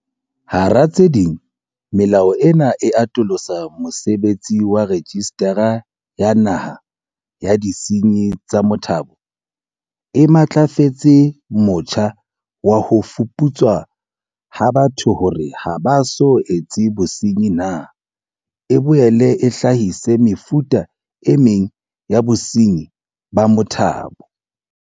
Hara tse ding, melao ena e atolosa mosebetsi wa Rejistara ya Naha ya Disenyi tsa Motabo, e matlafatse motjha wa ho fuputswa ha batho hore ha ba so etse bosenyi na, e boele e hlahise mefuta e meng ya bosenyi ba motabo.